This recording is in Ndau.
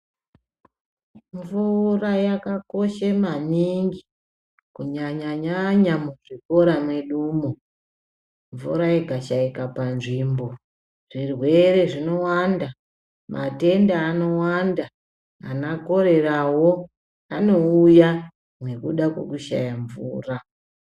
Mvura yaka koshe maningi kunyanya nyanya mu zvikora medumo mvura ika shaika pa nzvimbo zvirwere zvino wanda matenda ano wanda ana koreyawo ano uya nekuda kwe kushaya mvura.